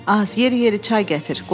Az, yeri-yeri çay gətir.